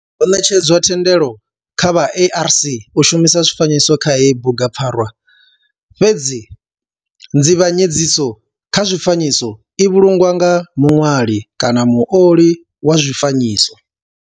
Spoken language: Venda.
Ho netshedzwa thendelo kha vha ARC u shumisa zwifanyiso kha heyi bugupfarwa fhedzi nzivhanyedziso kha zwifanyiso i vhulungwa nga muṋwali kana muoli wa zwifanyiso.